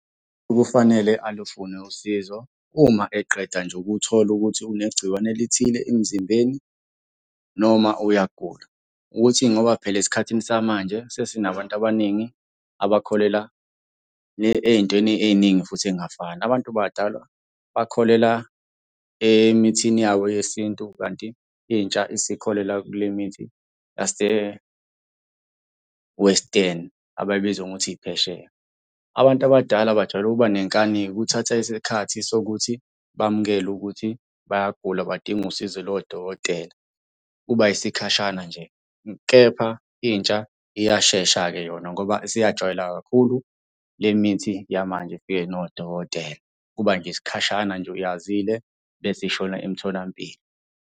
Kufanele alufune usizo uma eqeda nje ukuthola ukuthi unengciwane elithile emzimbeni, noma uyagula, ukuthi ngoba phela esikhathini samanje sesinabantu abaningi abakholelwa ey'ntweni ey'ningi futhi ey'ngafani. Abantu badalwa bakholela emithini yabo yesintu kanti intsha isikholelwa kule mithi yase-Western, abayibiza ngokuthi iphesheya. Abantu abadala bajwayele ukuba nenkani-ke kuthatha isikhathi sokuthi bamukele ukuthi bayagula, badinga usizo lodokotela. Kuba yisikhashana nje, kepha intsha iyashesha-ke yona ngoba isiyajwayela kakhulu le mithi yamanje efike nodokotela. Kuba nje isikhashana nje yazile bese ishona emtholampilo.